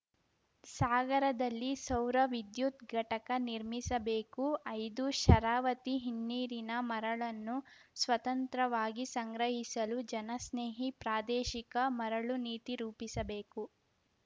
ಸಾಗರದಲ್ಲಿ ಸೌರ ವಿದ್ಯುತ್‌ ಘಟಕ ನಿರ್ಮಿಸಬೇಕು ಐದು ಶರಾವತಿ ಹಿನ್ನೀರಿನ ಮರಳನ್ನು ಸ್ವತಂತ್ರವಾಗಿ ಸಂಗ್ರಹಿಸಲು ಜನಸ್ನೇಹಿ ಪ್ರಾದೇಶಿಕ ಮರಳು ನೀತಿ ರೂಪಿಸಬೇಕು